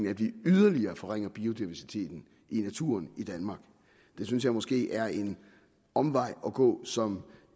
at vi yderligere forringer biodiversiteten i naturen i danmark det synes jeg måske er en omvej at gå som